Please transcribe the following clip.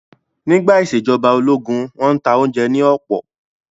Nígbà ìṣèjọba ológun, wọ́n n ta oúnjẹ ní ọ̀pọ̀